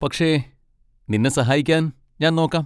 പക്ഷെ, നിന്നെ സഹായിക്കാൻ ഞാൻ നോക്കാം.